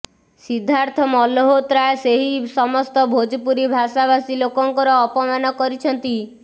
ସିଦ୍ଧାର୍ଥ ମଲହୋତ୍ରା ସେହି ସମସ୍ତ ଭୋଜପୁରୀ ଭାଷାଭାଷୀ ଲୋକଙ୍କର ଅପମାନ କରିଛନ୍ତି